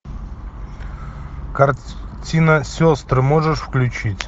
картина сестры можешь включить